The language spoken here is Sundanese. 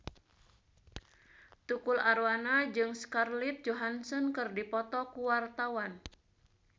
Tukul Arwana jeung Scarlett Johansson keur dipoto ku wartawan